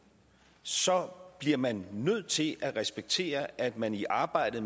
så bliver man nødt til at respektere at man i arbejdet